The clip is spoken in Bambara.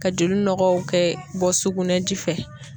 Ka joli nɔgɔw kɛ bɔ sugunɛji fɛ.